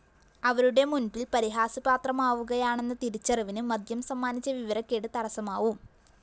അവരുടെ മുന്‍പില്‍ പരിഹാസ്യപാത്രമാവുകയാണെന്ന തിരിച്ചറിവിന് മദ്യം സമ്മാനിച്ച വിവരക്കേട് തടസ്സമാവും